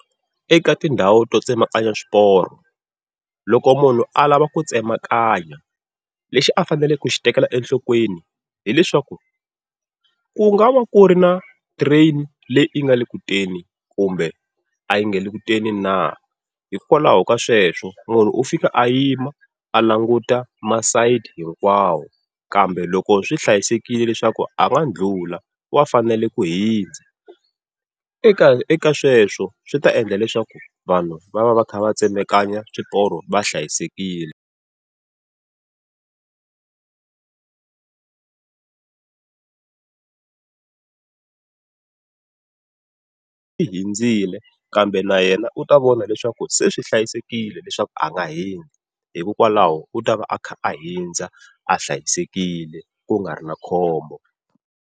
Eka tindhawu to tsemakanya swiporo, loko munhu a lava ku tsemakanya lexi a faneleke ku xi tekela enhlokweni hileswaku, ku nga va ku ri na train leyi nga le kuteni na kumbe a yi nge le ku teni na. Hikwalaho ka sweswo munhu u fika a yima a languta masayiti hinkwawo, kambe loko swi hlayisekile leswaku a nga ndlhula wa fanele ku hundza. Eka eka sweswo swi ta endla leswaku vanhu va va va kha va tsemakanya swiporo va hlayisekile hundzile kambe na yena u ta vona leswaku se swi hlayisekile leswaku a nga hundza, hikokwalaho u tava a kha a hundza a hlayisekile ku nga ri na khombo.